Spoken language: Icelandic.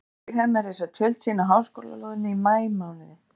Breskir hermenn reisa tjöld sín á háskólalóðinni í maímánuði